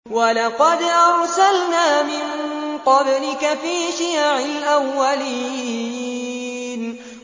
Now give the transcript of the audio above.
وَلَقَدْ أَرْسَلْنَا مِن قَبْلِكَ فِي شِيَعِ الْأَوَّلِينَ